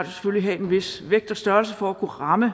selvfølgelig have en vis vægt og størrelse for at kunne ramme